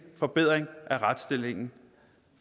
forbedring af retsstillingen